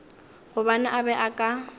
gobane a be a ka